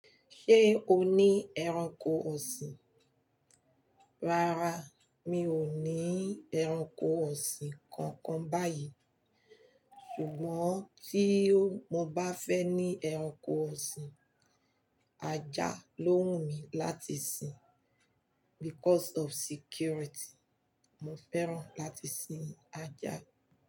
Ṣé o ní ẹranko ọ̀sìn? Rárá, mi ò ní ẹranko ọ̀sìn kankan báyìí. Ṣùgbọ́n tí mo bá fẹ́ ní ẹranko ọ̀sìn, ajá ló wù mí láti sin because of security. Mo fẹ́ràn láti sin ajá.